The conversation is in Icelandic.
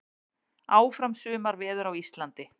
Áfram sumarveður á Íslandi